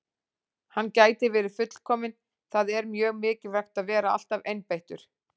Hann gæti verið fullkominn- það er mjög mikilvægt að vera alltaf einbeittur.